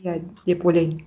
иә деп ойлаймын